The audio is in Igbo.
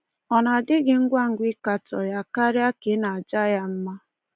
Ọ na-adị gị ngwa ngwa ịkatọ ya karịa ka ị na-aja ya mma?